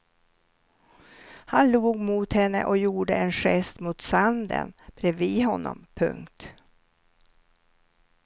Han log mot henne och gjorde en gest mot sanden bredvid honom. punkt